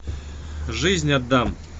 жизнь отдам